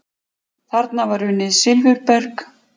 Þar var unnið silfurberg.